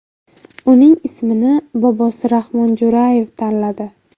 Uning ismini bobosi Rahmon Jo‘rayev tanladi.